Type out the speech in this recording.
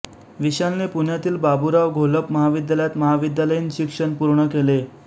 विशालने पुण्यातील बाबुराव घोलप महाविद्यालयात महाविद्यालयीन शिक्षण पूर्ण केले